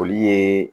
Olu ye